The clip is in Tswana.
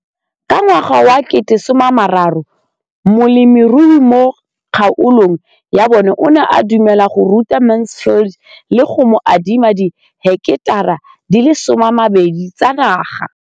Ka ngwaga wa 2013, molemirui mo kgaolong ya bona o ne a dumela go ruta Mansfield le go mo adima di heketara di le 12 tsa naga.